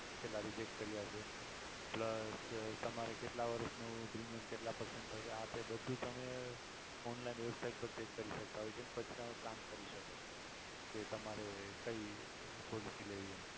કેટલા reject કર્યા છે તમારે કેટલા વર્ષનું premium કેટલા percentage થશે આ તે બધુ તમે online website પર check કરી શકતા હોય છે પછી તમે plan કરી શકો કે તમારે કઈ policy લેવી એમ